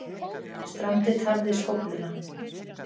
Strandið tafði skófluna